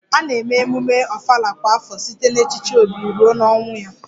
A na-eme emume Ofala kwa afọ site n'echichi obi ruo ọnwụ ya